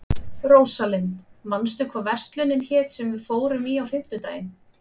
Rósalind, manstu hvað verslunin hét sem við fórum í á fimmtudaginn?